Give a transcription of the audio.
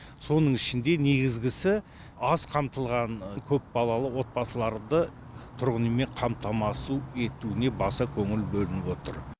соның ішінде негізгісі аз қамтылған көпбалалы отбасыларды тұрғын үймен қамтамасу етуіне баса көңіл бөлініп отыр